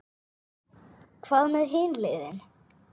Hvað með hin liðin?